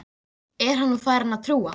Er hann nú farinn að trúa?